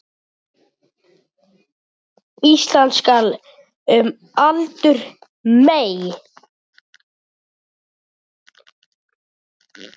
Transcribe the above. Ísland skal um aldur mey